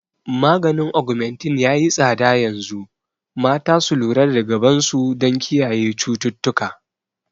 Maganin Augmentin yayi tsada yanzu, mata su lura da gaban su don kiyaye cututtuka